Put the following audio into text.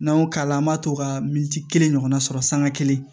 N'an y'o k'a la an b'a to ka militi kelen ɲɔgɔnna sɔrɔ sanga kelen